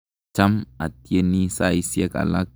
Cham atyeni saisyek alak.